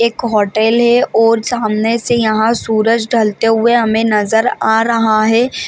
एक होटल है और सामने से यहाँ सूरज ढलते हुए हमे नज़र आ रहा है ।